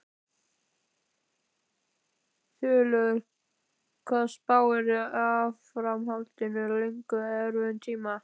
Þulur: Hvað spáirðu áframhaldandi löngum erfiðum tíma?